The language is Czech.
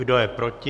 Kdo je proti?